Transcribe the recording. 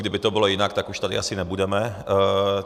Kdyby to bylo jinak, tak už tady asi nebudeme.